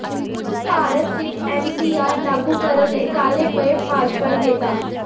ਭਾਰਤ ਵਿੱਚ ਐਨਪੀਆਰ ਲਾਗੂ ਕਰਨ ਲਈ ਕਾਹਲੇ ਪਏ ਭਾਜਪਾਈ ਨੇਤਾ